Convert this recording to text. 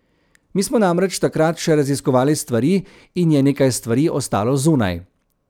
Mi smo namreč takrat še raziskovali stvari in je nekaj stvari ostalo zunaj.